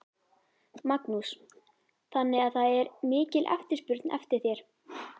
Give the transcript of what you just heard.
Magnús: Þannig að það er mikil eftirspurn eftir þér?